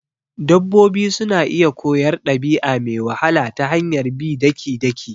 Dabbobi suna iya koyar dabi'a me wahala ta hanyar bi daki-daki